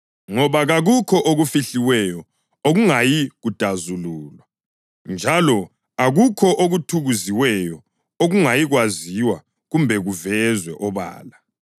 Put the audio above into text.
Ngoba kakukho okufihliweyo okungayi kudazululwa, njalo akukho okuthukuziweyo okungayikwaziwa kumbe kuvezwe obala.